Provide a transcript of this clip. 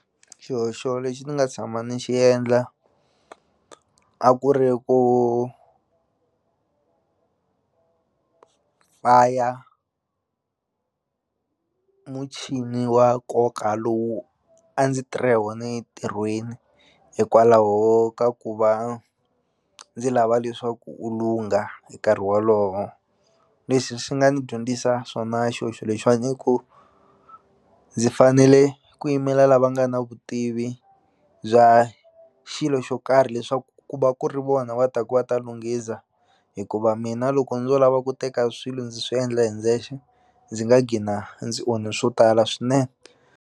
Xihoxo lexi ni nga tshama ni xi endla a ku ri ku faya muchini wa nkoka lowu a ndzi tirha hi wona entirhweni hikwalaho ka ku va ndzi lava leswaku u lungha hi nkarhi wolowo leswi swi nga ni dyondzisa swona xihoxo lexiwani i ku ndzi fanele ku yimela lava nga na vutivi bya xilo xo karhi leswaku ku va ku ri vona va taku va ta lunghisa hikuva mina loko ndzo lava ku teka swilo ndzi swi endla hi ndzexe ndzi nga gcina ndzi onhi swo tala swinene.